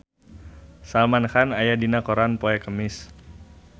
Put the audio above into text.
Salman Khan aya dina koran poe Kemis